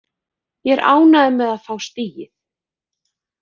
Ég er ánægður með að fá stigið.